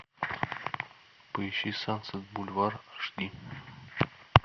поищи сансет бульвар аш ди